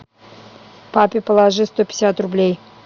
папе положи сто пятьдесят рублей